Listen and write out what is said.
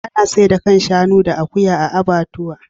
Ana saida kan shanu da akuya a abbatuwa.